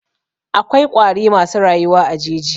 Akwai ƙwari masu rayuwa a jeji.